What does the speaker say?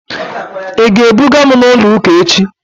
Ị ga-ebuga m ụlọ ụka echi?